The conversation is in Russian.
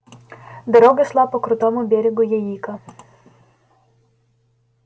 дорога шла по крутому берегу яика